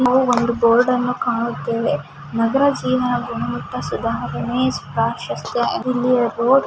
ನಾವು ಒಂದು ಬೋರ್ಡ್ ಅನ್ನು ಕಾಣುತ್ತೇವೆ ನಗರ --